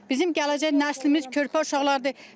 Bizim gələcək nəslimiz körpə uşaqlardır.